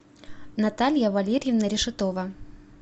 наталья валерьевна решетова